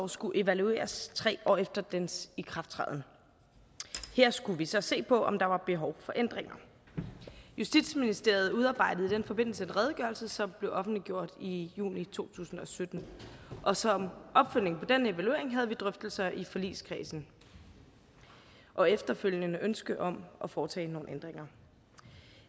skulle evalueres tre år efter dens ikrafttræden her skulle vi så se på om der var behov for ændringer justitsministeriet udarbejdede i den forbindelse en redegørelse som blev offentliggjort i juni to tusind og sytten og som opfølgning på den evaluering havde vi drøftelser i forligskredsen og efterfølgende ønske om at foretage nogle ændringer